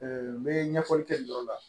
n bɛ ɲɛfɔli kɛ nin yɔrɔ la